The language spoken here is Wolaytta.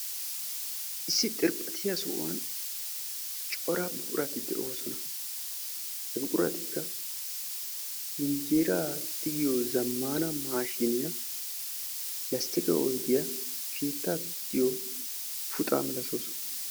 Issi xirphphattiya sohuwan darobbatti de'osonna. hegetikka buddenna tiggiyo buquratta.